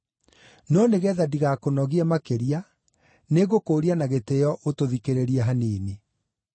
No nĩgeetha ndigakũnogie makĩria, nĩngũkũũria na gĩtĩĩo ũtũthikĩrĩrie hanini.